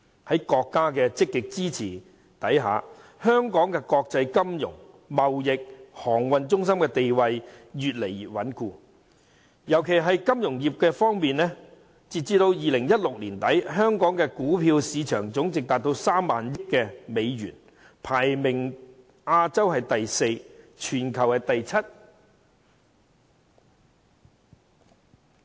在國家積極支持下，香港的國際金融、貿易和航運中心地位越來越穩固，特別在金融業方面，截止2016年年底，香港的股票市場總值高達3萬億美元，亞洲排名第四位，全球排名第七位。